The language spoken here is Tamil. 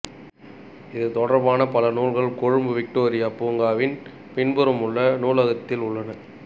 இது தொடர்பான பல நூல்கள் கொழும்பு விக்டோரியா பூங்காவின் பின்புறம் உள்ள நூலகத்தில் உள்ளன